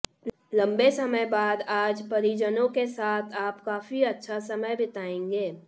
लंबे समय बाद आज परिजनों के साथ आप काफी अच्छा समय बिताएंगे